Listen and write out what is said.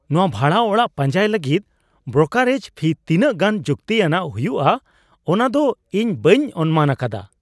ᱱᱚᱶᱟ ᱵᱷᱟᱲᱟ ᱚᱲᱟᱜ ᱯᱟᱸᱡᱟᱭ ᱞᱟᱹᱜᱤᱫ ᱵᱨᱳᱠᱟᱨᱮᱡ ᱯᱷᱤ ᱛᱤᱱᱟᱹᱜ ᱜᱟᱱ ᱡᱩᱠᱛᱤ ᱟᱱᱟᱜ ᱦᱩᱭᱩᱜᱼᱟ ᱚᱱᱟᱫᱚ ᱤᱧ ᱵᱟᱹᱧ ᱚᱱᱢᱟᱱ ᱟᱠᱟᱫᱟ!